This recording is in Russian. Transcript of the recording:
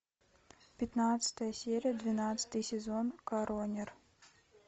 пятнадцатая серия двенадцатый сезон коронер